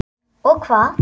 Og hvað?